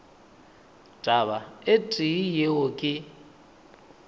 taba e tee yeo ke